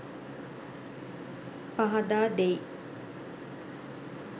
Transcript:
පහදා දෙයි.